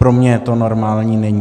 Pro mě to normální není.